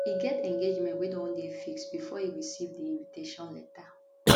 e get engagement wey don dey fixed bifor e receive di invitation letter